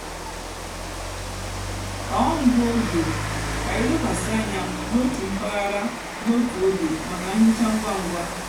tọọ ngụ ógè kà ílekwasị ányá n'ótú mpaghara n'ótú ógè mákà nhicha ngwa ngwa.